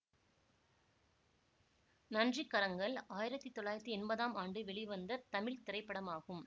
நன்றி கரங்கள் ஆயிரத்தி தொள்ளாயிரத்தி என்பதாம் ஆண்டு வெளிவந்த தமிழ் திரைப்படமாகும்